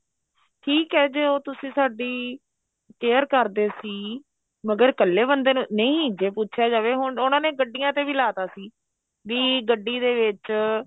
ਠੀਕ ਏ ਜੇ ਉਹ ਤੁਸੀਂ ਸਾਡੀ care ਕਰਦੇ ਸੀ ਮਗਰ ਇੱਕਲੇ ਬੰਦੇ ਨੂੰ ਨਹੀਂ ਜੇ ਪੁੱਛਿਆ ਜਾਵੇ ਹੁਣ ਉਹਨਾ ਨੇ ਗੱਡੀਆਂ ਤੇ ਵੀ ਲਾ ਤਾ ਸੀ ਬੀ ਗੱਡੀ ਦੇ ਵਿੱਚ